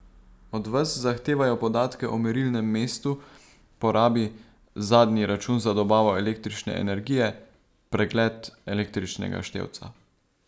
Od vas zahtevajo podatke o merilnem mestu, porabi, zadnji račun za dobavo električne energije, pregled električnega števca.